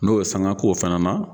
N'o ye sanŋa k'o fana na